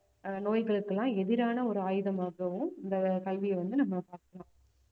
ஆஹ் நோய்களுக்கெல்லாம் எதிரான ஒரு ஆயுதமாகவும் இந்த கல்வியை வந்து நம்ம பாக்கலாம்